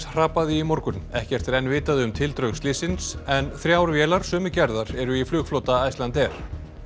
hrapaði í morgun ekkert er enn vitað um tildrög slyssins en þrjár vélar sömu gerðar eru í flugflota Icelandair